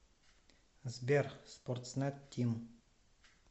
сбер спортснет тим